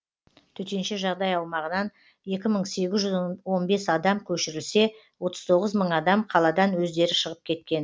төтенше жағдай аумағынан екі мың сегіз жүз он бес адам көшірілсе отыз тоғыз мың адам қаладан өздері шығып кеткен